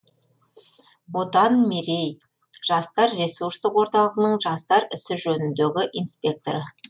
отан мерей жастар ресурстық орталығының жастар ісі жөніндегі инспекторы